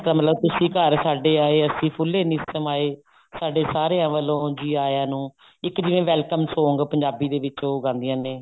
ਇਸਦਾ ਮਤਲਬ ਤੁਸੀਂ ਘਰ ਸਾਡੇ ਆਏ ਅਸੀਂ ਫੁੱਲੇ ਨਹੀਂ ਸਮਾਏ ਸਾਡੇ ਸਾਰਿਆਂ ਵੱਲੋ ਜੀ ਆਈਆਂ ਨੂੰ ਇੱਕ ਜਿਵੇਂ welcome song ਪੰਜਾਬੀ ਦੇ ਵਿੱਚ ਉਹ ਗਾਉਂਦੀਆਂ ਨੇ